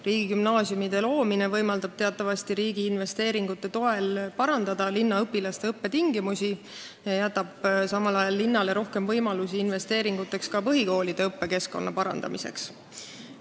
Riigigümnaasiumide loomine võimaldab teatavasti riigi investeeringute toel parandada õpilaste õppetingimusi ja jätab samal ajal linnale rohkem võimalusi kulutada raha ka põhikoolide õppekeskkonna parandamiseks.